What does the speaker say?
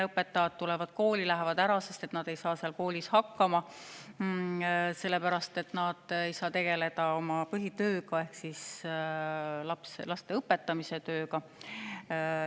Õpetajad tulevad kooli ja lähevad ära, sest nad ei saa koolis hakkama, sellepärast et nad ei saa tegelda oma põhitööga ehk laste õpetamisega.